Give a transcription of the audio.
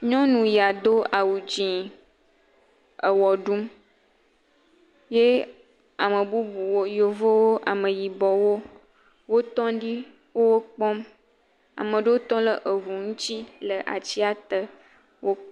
Nyɔnu ya do awu dzẽẽ ewɔ ɖum. Ye ame bubuwo, Yevowo, Ameyibɔwo wotɔŋ ɖi, wo wokpɔm. Amaa ɖewo tɔ le eŋu ŋtsi le atsia te wo.